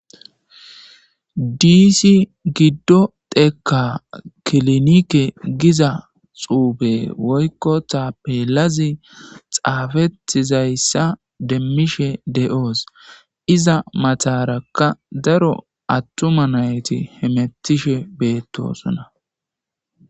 Disi gido dheka kilinike giza xufe woyko tapelazi xafetizaysa demishe de'os iza mataraka daro atuma nayti hemetishe betosona.